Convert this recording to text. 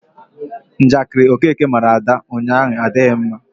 Njakịrị Okeke mara Ada ụnyaahụ adịghị ya mma.